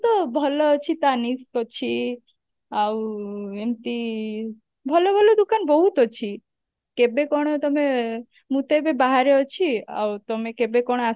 ତ ଭଲ ଅଛି tanishq ଅଛି ଆଉ ଏମତି ଭଲ ଭଲ ଦୁକାନ ବହୁତ ଅଛି କେବେ କଣ ତମେ ମୁଁ ତ ଏବେ ବାହାରେ ଅଛି ଆଉ ତମେ କେବେ କଣ